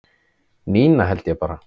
Nína held ég bara